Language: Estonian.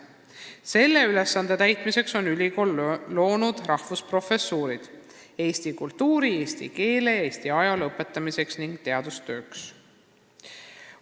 Selle ülesande täitmiseks on ülikool loonud rahvusprofessuurid eesti kultuuri, eesti keele ja Eesti ajaloo õpetamiseks ning teadustööks.